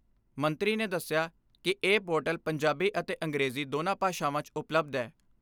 ਮੰਤਰੀ ਨੇ ਦਸਿਆ ਕਿ ਇਹ ਪੋਰਟਲ ਪੰਜਾਬੀ ਅਤੇ ਅੰਗਰੇਜ਼ੀ ਦੋਨਾਂ ਭਾਸ਼ਾਵਾਂ 'ਚ ਉਪਲੱਬਧ ਐ।